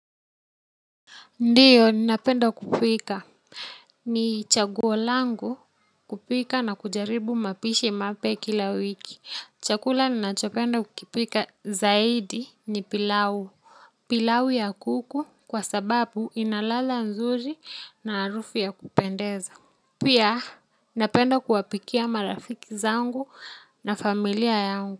Ndiyo, ninapenda kupika ni chaguo langu kupika na kujaribu mapishi mapya kila wiki chakula ninachopenda kukipika zaidi ni pilau. Pilau ya kuku kwa sababu ina ladha nzuri na harufu ya kupendeza. Pia, ninapenda kuwapikia marafiki zangu na familia yangu.